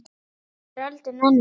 En nú var öldin önnur.